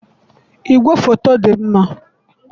igwefoto dị mma.